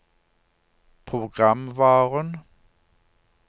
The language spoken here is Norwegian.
programvaren